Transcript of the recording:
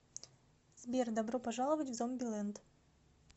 сбер добро пожаловать в зомби ленд